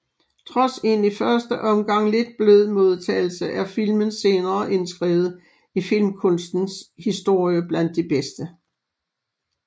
Trods en i første omgang lidt blød modtagelse er filmen senere indskrevet i filmkunstens historie blandt de bedste